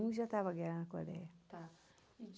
um já estava a guerra na Coreia